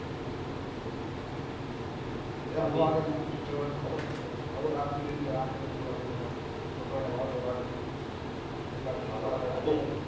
મેં આવી ને અમુક teacher ને ખબર રાખવી જોઈએ આ ખૂણે થી પેલા ખૂણે જવું પડે છોકરાઓ ને વાળ તોડાવે બે કાર ભી દા